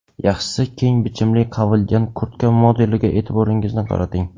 Yaxshisi keng bichimli qavilgan kurtka modeliga e’tiboringizni qarating.